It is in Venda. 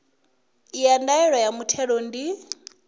ya ndaela ya muthelo ndi